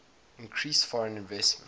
increased foreign investment